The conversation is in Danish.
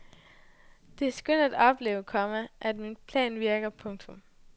Det er skønt at opleve, komma at min plan virker. punktum